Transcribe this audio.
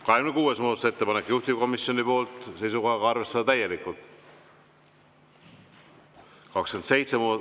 26. muudatusettepanek, juhtivkomisjoni poolt seisukohaga arvestada täielikult.